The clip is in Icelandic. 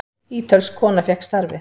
Ítölsk kona fékk starfið.